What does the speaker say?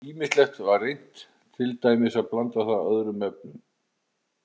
Ýmislegt var reynt, til dæmis að blanda það öðrum efnum.